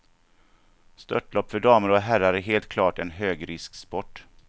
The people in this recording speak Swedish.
Störtlopp för damer och herrar är helt klart en högrisksport.